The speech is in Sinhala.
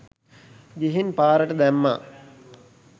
ගිහින් පාරට දැම්මා